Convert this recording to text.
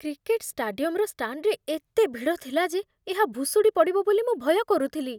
Cricket ଷ୍ଟାଡିୟମର ଷ୍ଟାଣ୍ଡରେ ଏତେ ଭିଡ଼ ଥିଲା ଯେ ଏହା ଭୁଶୁଡ଼ି ପଡ଼ିବ ବୋଲି ମୁଁ ଭୟ କରୁଥିଲି।